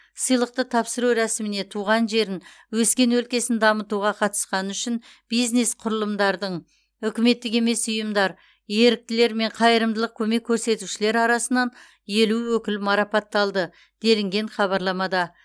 сыйлықты тапсыру рәсіміне туған жерін өскен өлкесін дамытуға қатысқаны үшін бизнес құрылымдардың үкіметтік емес ұйымдар еріктілер мен қайырымдылық көмек көрсетушілер арасынан елу өкіл марапатталды делінген хабарламада